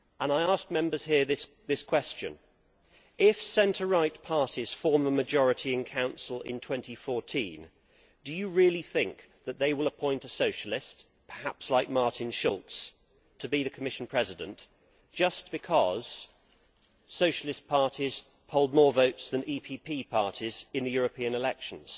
I ask Members here this question if centre right parties form a majority in Council in 2014, do you really think that they will appoint a socialist perhaps like Martin Schulz to be the Commission President, just because socialist parties hold more votes than EPP parties in the European elections?